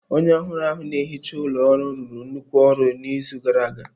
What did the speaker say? Onye ohuru na-ehicha ụlọ ọrụ rụrụ nnukwu ọrụ n'izu gara aga.